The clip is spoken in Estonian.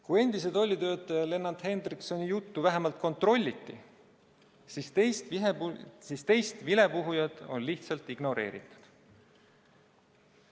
Kui endise tollitöötaja Lennart Henrikssoni juttu vähemalt kontrolliti, siis teist vilepuhujat on lihtsalt ignoreeritud.